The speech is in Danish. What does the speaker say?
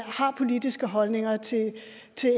har politiske holdninger til